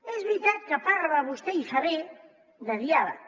és veritat que parla vostè i fa bé de diàleg